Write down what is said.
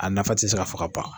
A nafa tɛ se ka fɔ ka ban